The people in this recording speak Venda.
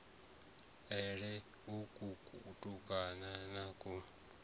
a lele uku kutukana ku